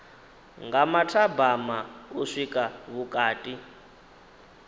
nga mathabama u swika vhukati